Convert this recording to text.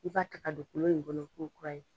I b'a ta ka don kolon in kɔnɔ ko kura ye